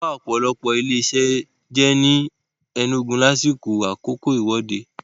Wọ́n ba ọ̀pọ̀lọpọ̀ ilé-isẹ́ jẹ́ ni Enugu lásìkò ìwọ́de Aba.